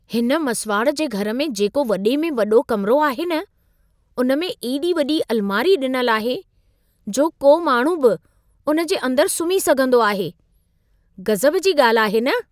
हिन मसिवाड़ जे घर में जेको वॾे में वॾो कमिरो आहे न, उन में एॾी वॾी अलमारी ॾिनल आहे, जो को माण्हू बि उन जे अंदर सुम्ही सघंदो आहे। गज़ब जी ॻाल्हि आहे न?